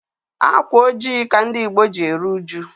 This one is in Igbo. Ákwà ojii ka ndị Ìgbo ji eru uju.